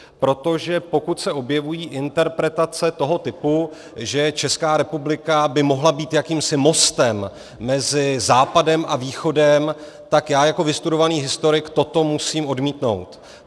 Protože pokud se objevují interpretace toho typu, že Česká republika by mohla být jakýmsi mostem mezi Západem a Východem, tak já jako vystudovaný historik toto musím odmítnout.